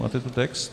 Máte ten text?